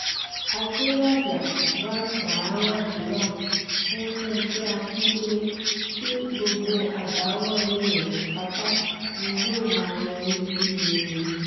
adélájà wàá gbà á ládùúrà fún fúnkẹ́ akíndélé pé gbogbo àdáwọ́lẹ̀ rẹ pátá ni yóò máa yọrí sí rere